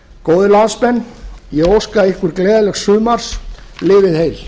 góðir landsmenn ég óska ykkur gleðilegs sumars lifið heil